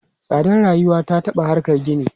Tsadar rayuwa ya taɓa harkan gini.